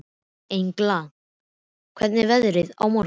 Engla, hvernig verður veðrið á morgun?